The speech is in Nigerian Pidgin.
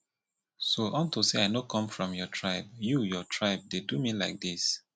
so unto say i no come from your tribe you your tribe you dey do me like dis